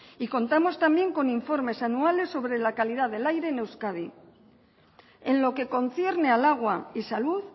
y contamos también con informes anuales sobre la calidad del aire en euskadi en lo que concierne al agua y salud